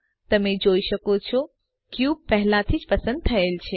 તમે જોઈ શકો છોક્યુબ પહેલાથી જ પસંદ થયેલ છે